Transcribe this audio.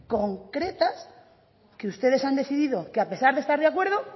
concretas que ustedes han decidido que a pesar de estar de acuerdo